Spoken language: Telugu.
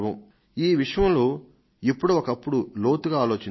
ఈ విషయంలో ఎప్పుడో ఒకప్పుడు లోతుగా ఆలోచించాలి